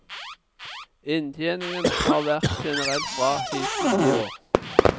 Inntjeningen har vært generelt bra hittil i år.